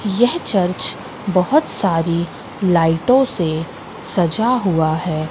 यह चर्च बहुत सारी लाइटों से सजा हुआ है।